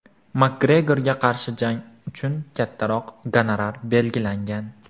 Makgregorga qarshi jang uchun kattaroq gonorar belgilangan.